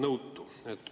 Ma olen nüüd nõutu.